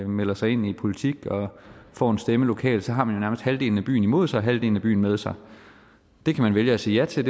melder sig ind i politik og får en stemme lokalt halvdelen af byen imod sig og halvdelen af byen med sig det kan man vælge at sige ja til